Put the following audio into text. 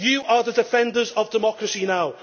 You are the defenders of democracy now.